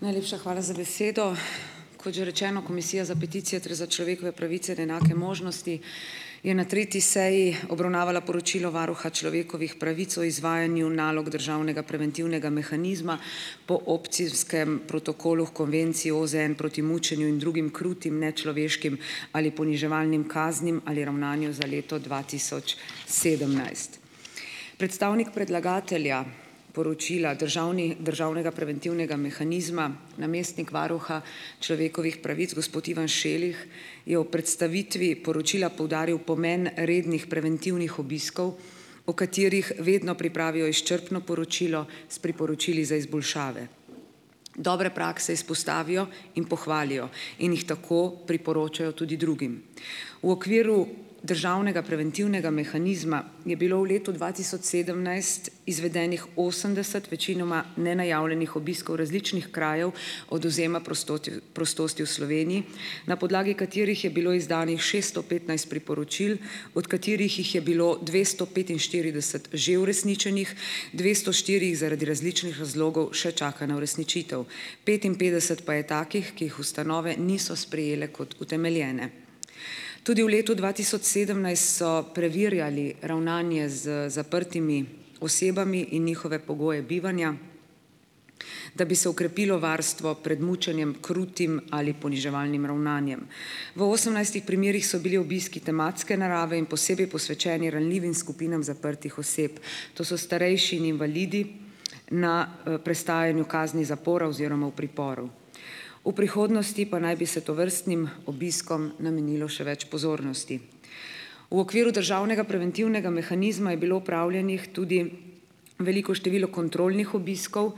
Najlepša hvala za besedo. Kot že rečeno, Komisija za peticije ter za človekove pravice in enake možnosti je na tretji seji obravnavala poročilo varuha človekovih pravic o izvajanju nalog državnega preventivnega mehanizma po opcijskem protokolu h konvenciji OZN proti mučenju in drugim, krutim nečloveškim ali poniževalnim kaznim ali ravnanju za leto dva tisoč sedemnajst. Predstavnik predlagatelja poročila državni državnega preventivnega mehanizma, namestnik varuha človekovih pravic, gospod Ivan Šelih, je v predstavitvi poročila poudaril pomen rednih preventivnih obiskov, o katerih vedno pripravijo izčrpno poročilo s priporočili za izboljšave. Dobre prakse izpostavijo in pohvalijo in jih tako priporočajo tudi drugim. V okviru državnega preventivnega mehanizma je bilo v letu dva tisoč sedemnajst izvedenih osemdeset večinoma nenajavljenih obiskov različnih krajev odvzema prostoti prostosti v Sloveniji na podlagi katerih je bilo izdanih šeststo petnajst priporočil, od katerih jih je bilo dvesto petinštirideset že uresničenih, dvesto štiri jih zaradi različnih razlogov še čaka na uresničitev. Petinpetdeset pa je takih, ki jih ustanove niso sprejele kot utemeljene. Tudi v letu dva tisoč sedemnajst so preverjali ravnanje z zaprtimi osebami in njihove pogoje bivanja, da bi se okrepilo varstvo pred mučenjem, krutim ali poniževalnim ravnanjem. V osemnajstih primerih so bili obiski tematske narave in posebej posvečeni ranljivim skupinam zaprtih oseb. To so starejši in invalidi na, prestajanju kazni zapora oziroma v priporu. V prihodnosti pa naj bi se tovrstnim obiskom namenilo še več pozornosti. V okviru državnega preventivnega mehanizma je bilo opravljenih tudi veliko število kontrolnih obiskov,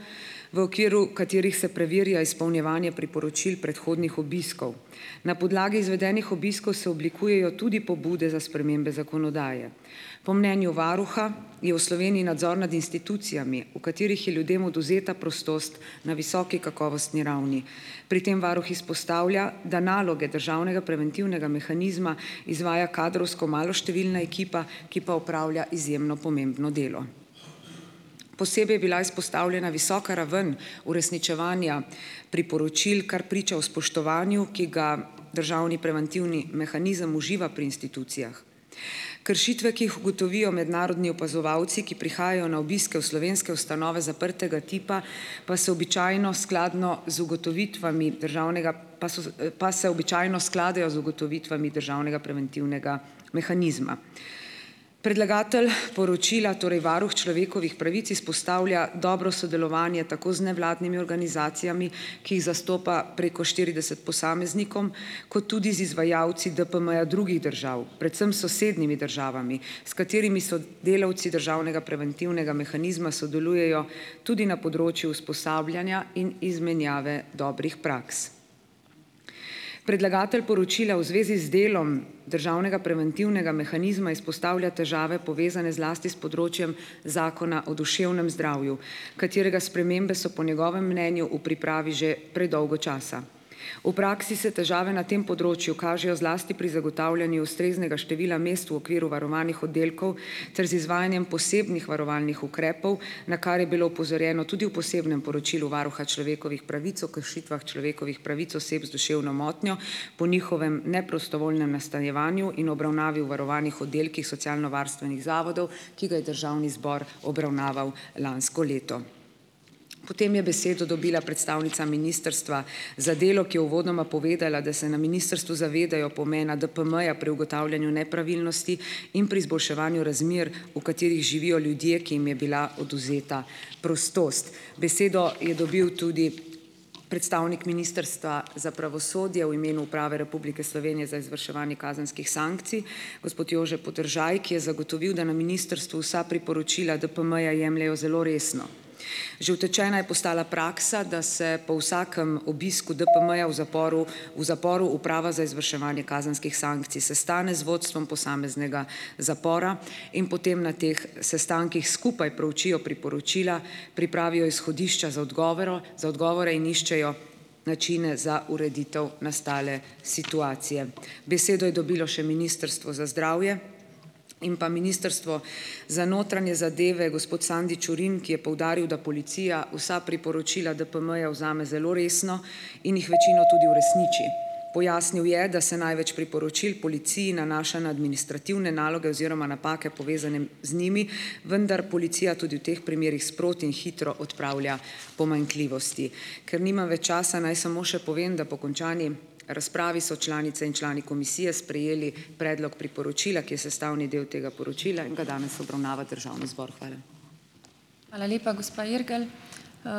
v okviru katerih se preverja izpolnjevanje priporočil predhodnih obiskov. Na podlagi izvedenih obiskov se oblikujejo tudi pobude za spremembe zakonodaje. Po mnenju varuha je v Sloveniji nadzor nad institucijami, v katerih je ljudem odvzeta prostost na visoki kakovostni ravni. Pri tem varuh izpostavlja, da naloge državnega preventivnega mehanizma izvaja kadrovsko maloštevilna ekipa, ki pa opravlja izjemno pomembno delo. Posebej je bila izpostavljena visoka raven uresničevanja priporočil, kar priča o spoštovanju, ki ga državni preventivni mehanizem uživa pri institucijah. Kršitve, ki jih ugotovijo mednarodni opazovalci, ki prihajajo na obiske v slovenske ustanove zaprtega tipa, pa so običajno skladno z ugotovitvami državnega pa so pa se običajno skladajo z ugotovitvami državnega preventivnega mehanizma. Predlagatelj poročila, torej varuh človekovih pravic, izpostavlja dobro sodelovanje tako z nevladnimi organizacijami, ki jih zastopa preko štirideset posameznikov, kot tudi z izvajalci DPM-ja drugih držav, predvsem s sosednjimi državami, s katerimi so delavci državnega preventivnega mehanizma sodelujejo tudi na področju usposabljanja in izmenjave dobrih praks. Predlagatelj poročila v zvezi z delom državnega preventivnega mehanizma izpostavlja težave, povezane zlasti s področjem zakona o duševnem zdravju, katerega spremembe so po njegovem mnenju v pripravi že predolgo časa. V praksi se težave na tem področju kažejo zlasti pri zagotavljanju ustreznega števila mest v okviru varovanih oddelkov ter z izvajanjem posebnih varovalnih ukrepov, na kar je bilo opozorjeno tudi v posebnem poročilu varuha človekovih pravic o kršitvah človekovih pravic oseb z duševno motnjo, po njihovem neprostovoljnem nastanjevanju in obravnavi v varovanih oddelkih socialnovarstvenih zavodov, ki ga je državni zbor obravnaval lansko leto. Potem je besedo dobila predstavnica Ministrstva za delo, ki je uvodoma povedala, da se na ministrstvu zavedajo pomena DPM-ja pri ugotavljanju nepravilnosti in pri izboljševanju razmer, v katerih živijo ljudje, ki jim je bila odvzeta prostost. Besedo je dobil tudi predstavnik Ministrstva za pravosodje v imenu Uprave Republike Slovenije za izvrševanje kazenskih sankcij gospod Jože Podržaj, ki je zagotovil, da na ministrstvu vsa priporočila DPM-ja jemljejo zelo resno. Že utečena je postala praksa, da se po vsakem obisku DPM-ja v zaporu, v zaporu Uprava za izvrševanje kazenskih sankcij sestane z vodstvom posameznega zapora in potem na teh sestankih skupaj proučijo priporočila, pripravijo izhodišča za odgovero za odgovore in iščejo načine za ureditev nastale situacije. Besedo je dobilo še Ministrstvo za zdravje in pa Ministrstvo za notranje zadeve, gospod Sandi Čurin, ki je poudaril, da policija vsa priporočila DPM-ja vzame zelo resno in jih večino tudi uresniči. Pojasnil je, da se največ priporočil policiji nanaša na administrativne naloge oziroma napake povezane z njimi, vendar policija tudi v teh primerih sproti in hitro odpravlja pomanjkljivosti. Ker nimam več časa, naj samo še povem, da po končani razpravi so članice in člani komisije sprejeli predlog priporočila, ki je sestavni del tega poročila in ga danes obravnava državni zbor. Hvala.